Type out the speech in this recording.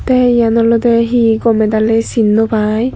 te yen olodey hi gomey daley sin no pai.